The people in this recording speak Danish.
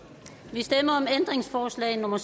vi stemmer om ændringsforslag nummer